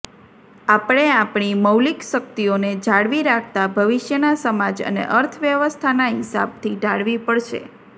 આપણે આપણી મૌલિક શક્તિઓને જાળવી રાખતા ભવિષ્યના સમાજ અને અર્થવ્યવસ્થાના હિસાબથી ઢાળવી પડશે